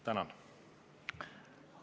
Tänan!